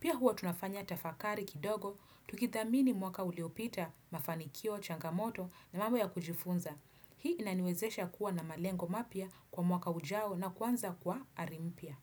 Pia huwa tunafanya tafakari kidogo, tukithamini mwaka uliopita, mafanikio, changamoto na mambo ya kujifunza. Hii inaniwezesha kuwa na malengo mapya kwa mwaka ujao na kwanza kwa ari mpya.